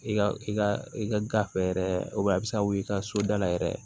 I ka i ka i ka gafe yɛrɛ a bɛ se ka wuli i ka so da la yɛrɛ